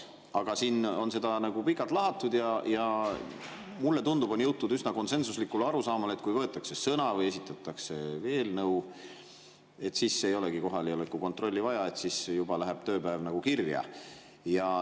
Aga siin on seda pikalt lahatud ja tundub, on jõutud üsna konsensuslikule arusaamale, et kui võetakse sõna või esitatakse eelnõu, siis ei olegi kohaloleku kontrolli vaja, et siis juba läheb tööpäev nagu kirja.